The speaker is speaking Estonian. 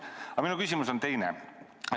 Aga minu küsimus on teine.